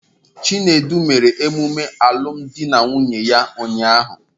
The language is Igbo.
Chinedu mere emume alụmdi na nwunye ya ụnyahụ.